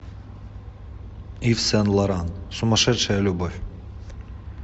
ив сен лоран сумасшедшая любовь